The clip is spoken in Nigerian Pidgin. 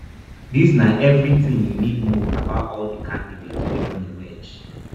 dis na eviritin you need to know about all di candidates wey don emerge